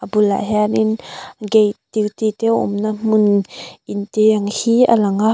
a bulah hianin gate duty te awm na hmun in te ang hi a lang a.